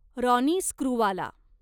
Ronnie Screwvala